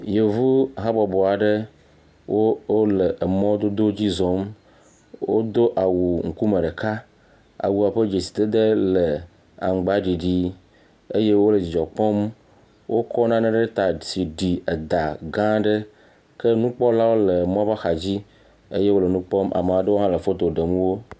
Yevu habɔbɔ aɖe wole mɔdodo dzi zɔm wodo awuŋkume ɖeka awua ƒe dzesidede le aŋgbaɖiɖi eye wole dzidzɔ kpɔm wokɔ nane ɖe ta abe eda gã aɖe ke nukpɔlawo le emɔa ƒe axa le nukpɔm le foto ɖem wo.